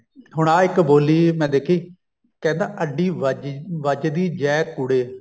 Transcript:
ਹੁਣ ਆਹ ਇੱਕ ਬੋਲੀ ਮੈਂ ਦੇਖੀ ਕਹਿੰਦਾ ਅੱਡੀ ਵੱਜਦੀ ਜੈ ਕੁੜੇ